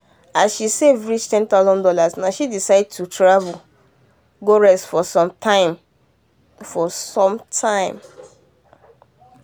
as she save reach 10000 dollars na she decide to travel go rest for some time for some time